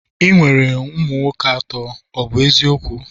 ị nwere ụmụ nwoke atọ, a bụ m eziokwu?